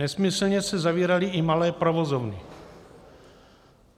Nesmyslně se zavíraly i malé provozovny.